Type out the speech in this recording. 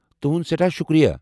تُہُنٛد سٮ۪ٹھاہ شُکریہ۔